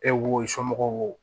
E wo somɔgɔw